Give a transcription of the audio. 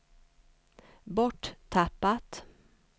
borttappat